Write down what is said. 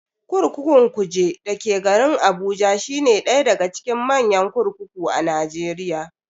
Kurkukun Kuje dake garin Abuja shine daya daga cikin manyan kurkuku a Najeriya.